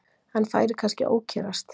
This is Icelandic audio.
Hann færi kannski að ókyrrast.